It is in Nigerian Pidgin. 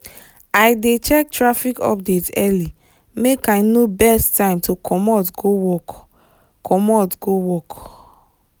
i dey check traffic update early make i know best time to commot go work. commot go work.